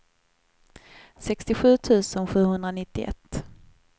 sextiosju tusen sjuhundranittioett